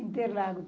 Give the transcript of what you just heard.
Interlagos.